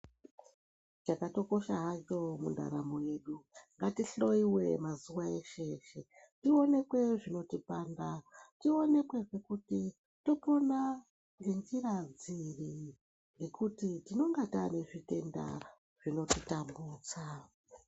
Chakatokosha hacho mundaramo yedu ngatohloyiwe mazuva eshe eshe tionekwe zvinotipanda tionekwe kuti topona ngenzira dziri ngekuti tinenge taane zvitenda zvinotitambudza.